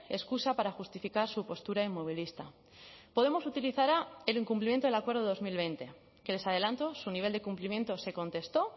excusa para justificar su postura inmovilista podemos utilizará el incumplimiento del acuerdo dos mil veinte que les adelanto su nivel de cumplimiento se contestó